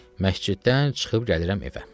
Məsciddən çıxıb gəlirəm evə.